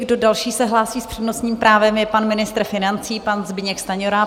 Kdo další se hlásí s přednostním právem, je pan ministr financí, pan Zbyněk Stanjura.